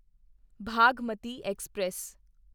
Bhagmati express